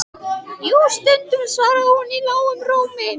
Jú, stundum, svaraði hún í lágum rómi.